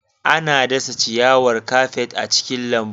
Ana dasa ciyawar kafet a cikin lambu.